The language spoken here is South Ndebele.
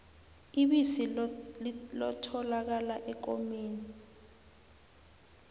ibisi lotholakala ekomeni